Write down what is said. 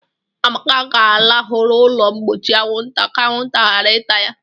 Amaka ga-alahụ n'ụlọ mgbochi anwụnta ka anwụnta ghara ịta ya.